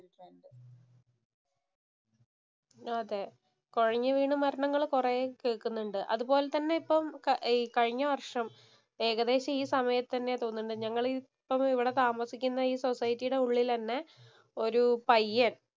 അതെ, കൊഴഞ്ഞുവീണ മരണങ്ങൾ കൊറെ കേൾക്കുന്നുണ്ട്. അതുപോലെ തന്നെ ഇപ്പോൾ കഴിഞ്ഞവർഷം ഏകദേശം ഈ സമയത്ത് തന്നെ എന്ന് തോന്നണുണ്ട്. ഇവിടെ താമസിക്കുന്ന ഈ സോസൈറ്റിയുടെ ഉള്ളില് തന്നെ ഒരു പയ്യന്‍